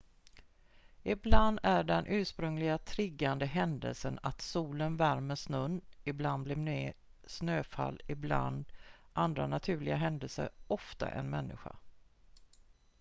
ibland är den ursprungliga triggande händelsen att solen värmer snön ibland mer snöfall ibland andra naturliga händelser ofta en människa